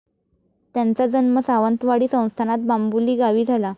त्यांचा जन्म सावंतवाडी संस्थानात बाम्बुलीगावी झाला.